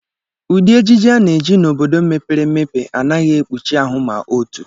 Ụdị ejiji a na-eji n'obodo mepere emepe anaghị ekpuchi ahụ ma otu